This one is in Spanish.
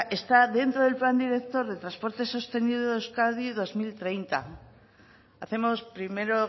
está dentro del plan director de transporte sostenible de euskadi dos mil treinta hacemos primero